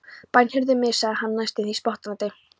Bænheyrðu mig, sagði hann næstum því spottandi.